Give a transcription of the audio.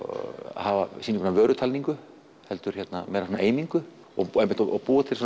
hafa sýningu sem vörutalningu heldur einingu og búa og búa til